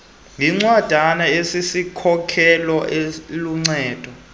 yincwadana esisikhokelo eluncedo